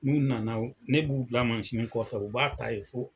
Minnu nana o, ne b'u bila mansini kɔfɛ u b'a ta yen fo